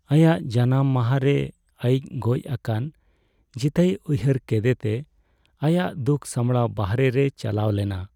ᱟᱭᱟᱜ ᱡᱟᱱᱟᱢ ᱢᱟᱦᱟ ᱨᱮ ᱟᱹᱭᱤᱡ ᱜᱚᱡ ᱟᱠᱟᱱ ᱡᱤᱛᱟᱹᱭ ᱩᱭᱦᱟᱹᱨ ᱠᱮᱫᱮᱛᱮ ᱟᱭᱟᱜ ᱫᱩᱠ ᱥᱟᱢᱲᱟᱣ ᱵᱟᱦᱨᱮ ᱨᱮ ᱪᱟᱞᱟᱣ ᱞᱮᱱᱟ ᱾